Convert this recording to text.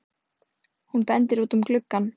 Hún bendir út um gluggann.